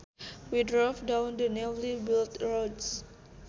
We drove down the newly built roads